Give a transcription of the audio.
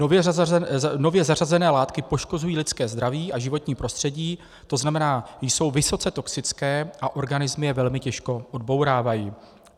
Nově zařazené látky poškozují lidské zdraví a životní prostředí, to znamená, jsou vysoce toxické a organismy je velmi těžko odbourávají.